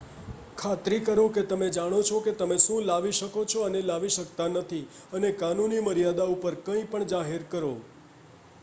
ખાતરી કરો કે તમે જાણો છો કે તમે શું લાવી શકો છો અને લાવી શકતા નથી અને કાનૂની મર્યાદા ઉપર કંઈપણ જાહેર કરો